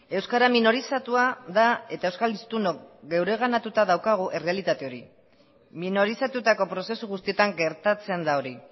euskara minorizatua da eta euskal hiztunok geureganatuta daukagu errealitate hori minorizatutako prozesu guztietan gertatzen da hori